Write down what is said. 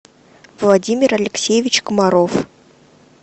владимир алексеевич комаров